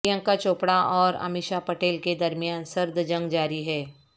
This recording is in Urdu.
پرینکا چوپڑہ اور امیشا پٹیل کے درمیان سرد جنگ جاری ہے